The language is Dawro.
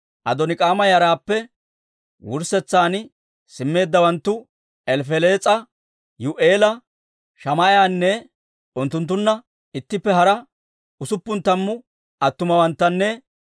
Adoonik'aama yaraappe wurssetsan simmeeddawanttu, Elifelees'a, Yi'u'eela, Shamaa'iyaanne unttunttunna ittippe hara usuppun tammu attumawanttanne